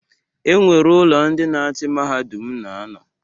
E nwere ụlọ ndị na-achị mahadum na-anọ.